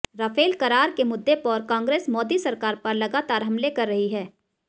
Rafale करार के मुद्दे पर कांग्रेस मोदी सरकार पर लगातार हमले कर रही है